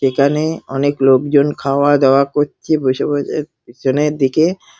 এখানে অনেক লোকজনা খাওয়া দাওয়া করছে বসে বসে পেছনের দিকে।